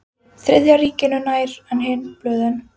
Þriðja ríkinu nær en hin blöðin.